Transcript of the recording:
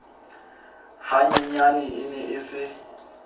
hanyenyane e ne e se